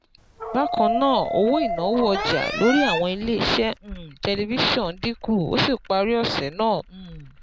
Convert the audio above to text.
Bákan náà, owó ìnáwó ọjà lórí àwọn iléeṣẹ́ um tẹlifíṣọ̀n dín kù, ó sì parí ọ̀sẹ̀ náà um